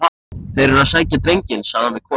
Þeir eru að sækja drenginn, sagði hann við konu sína.